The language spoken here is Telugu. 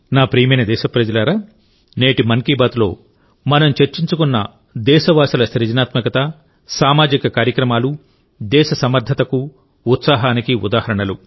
నా ప్రియమైన దేశప్రజలారానేటి మన్ కీ బాత్లో మనం చర్చించుకున్న దేశవాసుల సృజనాత్మక సామాజిక కార్యక్రమాలు దేశ సమర్థతకు ఉత్సాహానికి ఉదాహరణలు